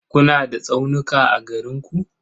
Kuna da tsaunuka a garin ku?